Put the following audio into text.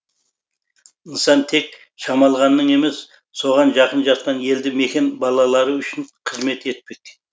нысан тек шамалғанның емес соған жақын жатқан елді мекен балалары үшін қызмет етпек